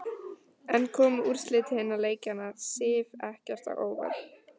En komu úrslit hinna leikjanna Sif ekkert á óvart?